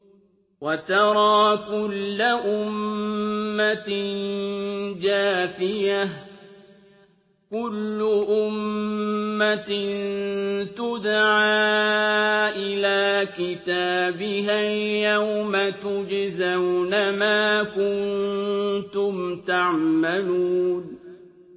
وَتَرَىٰ كُلَّ أُمَّةٍ جَاثِيَةً ۚ كُلُّ أُمَّةٍ تُدْعَىٰ إِلَىٰ كِتَابِهَا الْيَوْمَ تُجْزَوْنَ مَا كُنتُمْ تَعْمَلُونَ